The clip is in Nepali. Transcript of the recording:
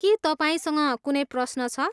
के तपाईँसँग कुनै प्रश्न छ?